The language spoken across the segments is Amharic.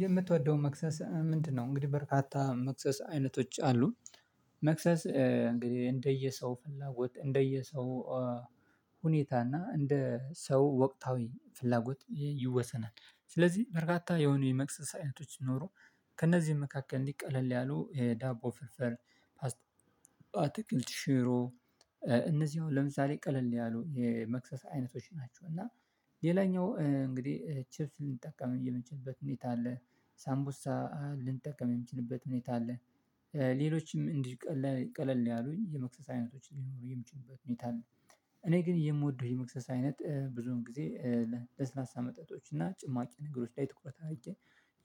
የምትወደውን መክሰስ ምንድነው? እንግዲህ በርካታ መክሰስ አይነቶች አሉ። መክሰስ እንግዲህ እንደየ ሰው ፍላጎት እንደየ ሰው ሁኔታ እና እንደ ሰው ወቅታዊ ፍላጎት ይወሰናል። ስለዚህ በርካታ የሆኑ የመክሰስ አይነቶች ሲኖሩ ከእነዚህም መካከል እንዲህ ቀለል ያሉ የዳቦ ፍርፍር። አትክልት ሽሮ። እነዚህ አሁን ለምሳሌ ቀለል ያሉ የመክሰስ አይነቶች ናቸው። እና ሌላኛው እንግዲህ ቺፕ ልንጠቀም የምንችልበት ሁኔታ አለ ሳምቡሳ ልንጠቀም የምችልበት ሁኔታ አለ። ሌሎችም እንዲህ ቀለል ያሉኝ የመክሰስ አይነቶች ሊኖሩ የሚችሉበት ሁኔታ ነው። እኔ ግን የምወደው የመክሰስ አይነት ብዙን ጊዜ ለስላሳ መጠጦች እና ጭማቂ ነገሮች ላይ ትኩረት አድርጌ።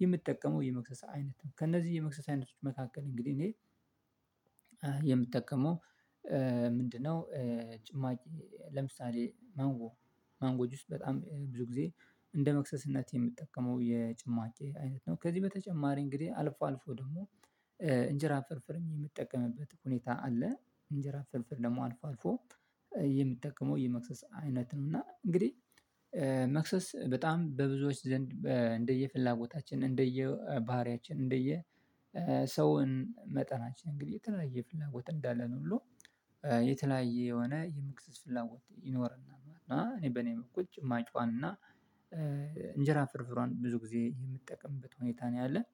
የምትጠቀመው የመክሰሳ አይነት ከእነዚህ የመክሰስ አይነቶች መካከል እንግዲህ እኔ እንግዲህ እኔ የምጠቀመው ምንድነው? ጭማቂ ለምሳሌ ማንጎ ማንጎ ጁስ በጣም ብዙ ጊዜ እንደ መክሰስነት የምጠቀመው የጭማቄ አይነት ነው። ከዚህ በተጨማሪ እንግዲህ አልፎ አልፎ ደግሞ እንጀራ ፍርፍርም የምጠቀምበት ሁኔታ አለ። እንጀራ ፍርፍር ደግሞ አልፎ አልፎ የምጠቀመው የመክሰስ አይነት ነው። እና እንግዲህ መክሰስ በጣም በብዙዎች ዘንድ እንደየ ፍላጎታችን እንደየባህሪያችን እንደየሰውን መጠናችን እንግዲህ የተለያየ ፍላጎት እንዳለን ሁሉ የተለያየ የሆነ የመክሰስ ፍላጎት ይኖረናል። እና እኔ በኔ በኩል ጭማቄዎን እና እንጀራ ፍርፍሯን ብዙ ጊዜ የምጠቀምበት ሁኔታ ነው። ያለን